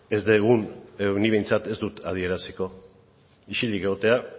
ez dugun edo nik behintzat ez dut adieraziko isilik egotea